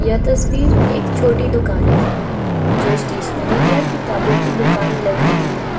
यह तस्वीर एक छोटी दुकान की है जो स्टेशनरी या किताबों की दुकान लग रही है।